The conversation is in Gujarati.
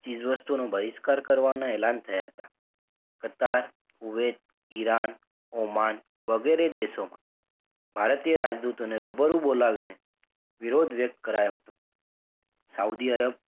ચીઝવસ્તુઓનો બહિષ્કાર કરવાનાં એલાન થયાં હતાં છતાં કુવેત, ઈરાન, ઓમાન વગેરે દેશોમાં ભારતીય રાજદૂતો ને રૂબરૂ બોલાવીને વિરોધ વ્યક્ત કરાયો હતો સાઉદી અરબ,